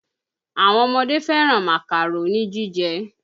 Àwọn ọmọdé fẹ̀ràn Màkàró ni jíjẹ́